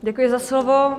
Děkuji za slovo.